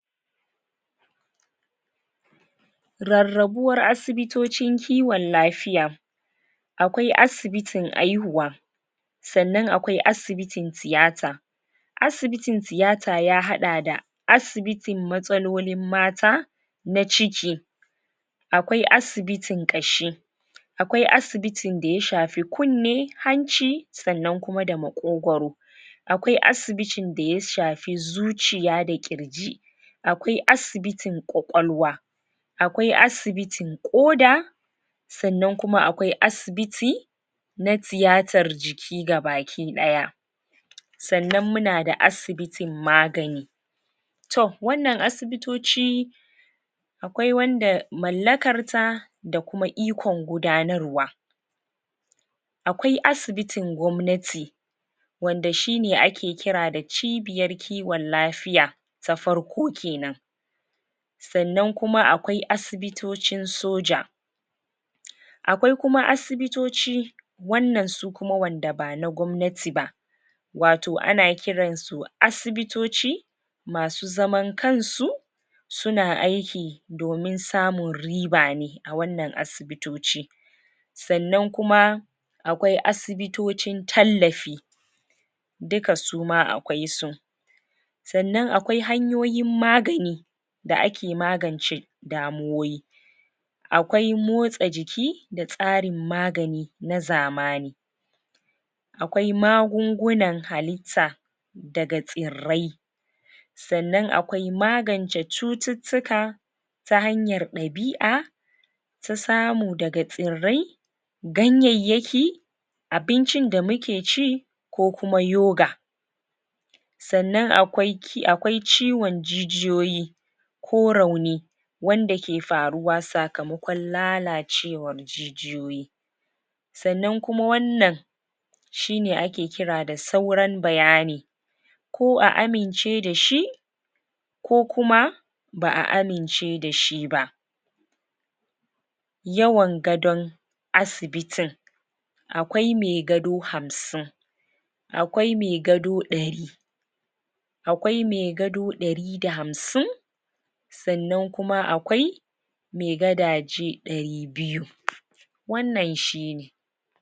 rarrabuwar asibitocin kiwon lafiya akwai asibitin aihuwa sanan akwai asibitin tiyata asibitin tiyata ya haɗa da asibitin matsalolin mata na ciki akwai asibitin ƙashi akwai asibitin daya shafi kunne, hanci sanan da maƙogoro akwai asibitin daya shafi zuciya da ƙirji akwai asibitin ƙwaƙwalwa akwai asibitin ƙoda sanan kuma akwai asibiti na tiyatar jiki ga bakiɗaya sanan munada asibitin magani to wanan asibitoci akwai wanda mallakar ta dakuma ikon gudanarwa akwai asibitin gwamnati wanda shine ake kira da cibiyar kiwon lafiya ta farko kenan sanan kuma akwai asibitocin soja akwai kuma asibitoci wannan sukuma wanda ba nagwamnati ba wato ana kiransu asibitoci masu zaman kansu suna aiki domin samun ribane a wannan asibitoci sanan kuma akwai asibitocin tallafi duka suma akwai su sanan akwai hanyoyin magani da ake magance damuwoyi akwai motsa jiki da tsarin magani nazamani akwai magungunan hallita daga tsirrai sanan akwai magance cututtuka ta hanyar ɗabi'a su samu daga tsirai ganyayyaki abincin da mukeci ko kuma yoga sanan akwai ki akwai ciwon jijiyoyi ko rauni wanda ke faruwa sakmakon lalacewar jijiyoyi sanan kuma wannan shine ake kira da sauran bayani ka a amince dashi ko kuma ba'a amince da shiba yawan gadon asibitin akwai me gado hamsin akwai me gado ɗari akwai me gado ɗari da hamsin sanan kuma akwai me gadaje ɗari biyu wanan shine